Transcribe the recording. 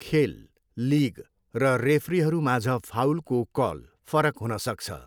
खेल, लिग र रेफ्रीहरूमाझ फाउलको कल फरक हुन सक्छ।